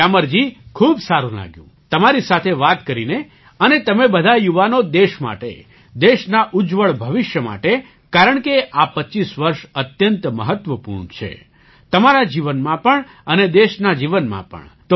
ગ્યામરજી ખૂબ સારું લાગ્યું તમારી સાથે વાત કરીને અને તમે બધા યુવાનો દેશ માટે દેશના ઉજ્જવળ ભવિષ્ય માટે કારણકે આ ૨૫ વર્ષ અત્યંત મહત્ત્વપૂર્ણ છે તમારા જીવનનાં પણ અને દેશના જીવનનાં પણ